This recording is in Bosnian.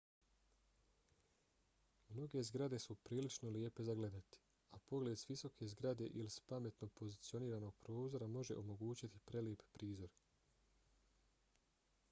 mnoge zgrade su prilično lijepe za gledati a pogled s visoke zgrade ili s pametno pozicioniranog prozora može omogućiti prelijep prizor